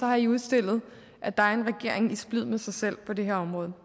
har i udstillet at der er en regering i splid med sig selv på det her område